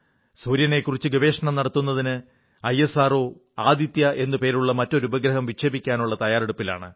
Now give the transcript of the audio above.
സൂര്യനെക്കുറിച്ച് ഗവേഷണം നടത്തുന്നതിന് ഐഎസ്ആർഒ ആദിത്യ എന്നു പേരുള്ള മറ്റൊരു ഉപഗ്രഹം വിക്ഷേപിക്കാനുള്ള തയ്യാറെടുപ്പിലാണ്